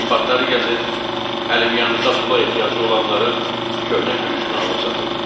Lambardları gəzir, əlimyandıda pula ehtiyacı olanların köhnə kürüşünü alıb satırlar.